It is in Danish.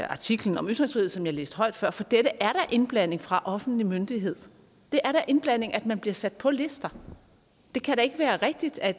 artiklen om ytringsfrihed som jeg læste højt før for dette er indblanding fra offentlig myndighed det er da indblanding at man bliver sat på lister det kan da ikke være rigtigt at